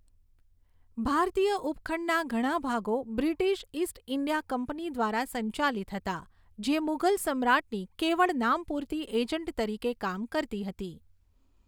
ભારતીય ઉપખંડના ઘણા ભાગો બ્રિટિશ ઈસ્ટ ઈન્ડિયા કંપની દ્વારા સંચાલિત હતા, જે મુઘલ સમ્રાટની કેવળ નામ પૂરતી એજન્ટ તરીકે કામ કરતી હતી.